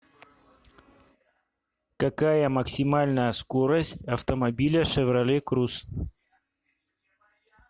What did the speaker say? какая максимальная скорость автомобиля шевроле круз